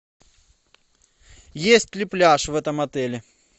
есть ли пляж в этом отеле